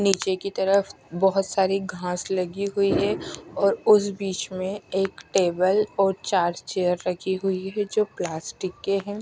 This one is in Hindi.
नीचे की तरफ बहोत सारी घास लगी हुई है और उस बीच में एक टेबल और चार्जर रखी हुई है जो प्लास्टिक के हैं।